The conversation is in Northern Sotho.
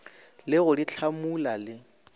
le go di hlamula le